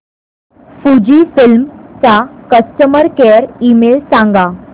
Fujifilm चा customer care email सांगा